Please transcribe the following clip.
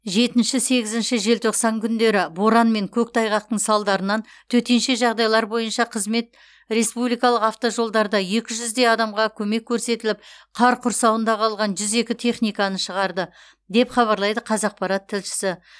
жетінші сегізінші желтоқсан күндері боран мен көктайғақтың салдарынан төтенше жайдайлар бойынша қызмет республикалық автожолдарда екі жүздей адамға көмек көрсетіліп қар құрсауында қалған жүз екі техниканы шығарды деп хабарлайды қазақпарат тілшісі